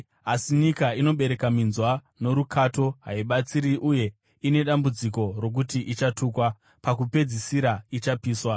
Asi nyika inobereka minzwa norukato haibatsiri uye ine dambudziko rokuti ichatukwa. Pakupedzisira ichapiswa.